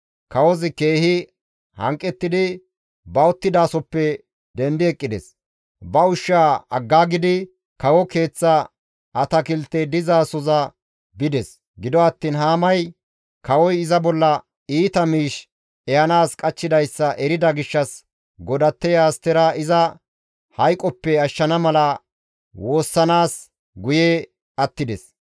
Kawozi keehi hanqettidi ba uttidasohoppe dendi eqqides; ba ushsha aggaagidi kawo keeththa atakiltey dizasoza bides. Gido attiin Haamay kawoy iza bolla iita miish ehanaas qachchidayssa erida gishshas godatteya Astera iza hayqoppe ashshana mala woossanaas guye attides.